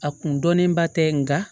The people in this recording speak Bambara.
A kun dɔnnen ba tɛ nka